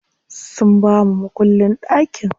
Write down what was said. Sun bamu makullin ɗakin.